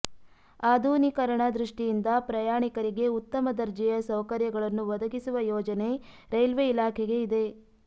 ಆಧುನೀಕರಣ ದೃಷ್ಟಿಯಿಂದ ಪ್ರಯಾಣಿಕರಿಗೆ ಉತ್ತಮ ದರ್ಜೆಯ ಸೌಕರ್ಯಗಳನ್ನು ಒದಗಿಸುವ ಯೋಜನೆ ರೈಲ್ವೆ ಇಲಾಖೆಗೆ ಇದೆ